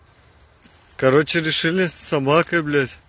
короче решили собакой